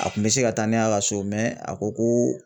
A kun bɛ se ka taa n'a ka so a ko ko